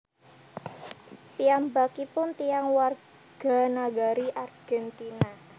Piyambakipun tiyang warganagari Argentina